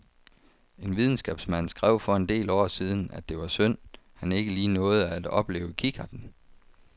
En videnskabsmand skrev for en del år siden, at det var synd, han ikke lige nåede at opleve kikkerten.